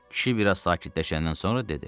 Kişi biraz sakitləşəndən sonra dedi: